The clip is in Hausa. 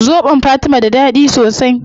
Zobon fatima da dadi sosai